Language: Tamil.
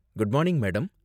Good morning, madam.